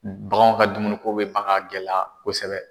Bagan ka dumuni ko be ban ka gɛlɛya kosɛbɛ.